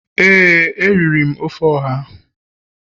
ee, a riri m ofe oha.